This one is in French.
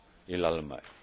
et l'Allemagne!